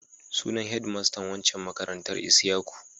Sunan hedmastan waccan makarantar Isyaku.